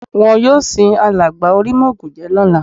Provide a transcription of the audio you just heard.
Wọn yóò sin alàgbà Orímọ́ògùnjẹ́ lọ́la